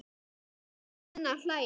Júlía enn að hlæja.